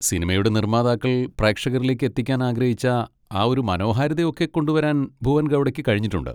സിനിമയുടെ നിർമ്മാതാക്കൾ പ്രേക്ഷകരിലേക്ക് എത്തിക്കാൻ ആഗ്രഹിച്ച ആ ഒരു മനോഹാരിത ഒക്കെ കൊണ്ടുവരാൻ ഭുവൻ ഗൗഡയ്ക്ക് കഴിഞ്ഞിട്ടുണ്ട്.